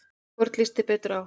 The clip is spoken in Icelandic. Hvorn líst þér betur á?